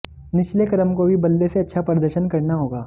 निचले क्रम को भी बल्ले से अच्छा प्रदर्शन करना होगा